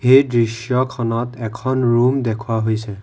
এই দৃশ্যখনত এখন ৰুম দেখুওৱা হৈছে।